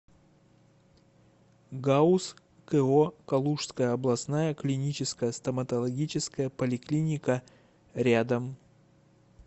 гауз ко калужская областная клиническая стоматологическая поликлиника рядом